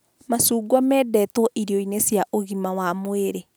Macungwa mendetwo irio-inĩ cia ugima wa mwĩrĩ